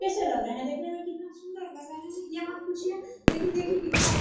कैसा लग रहा है देखने में कितना सुन्दर लग रहा है ये मत पूछिए लेकिन देखिये कितना अच्छा --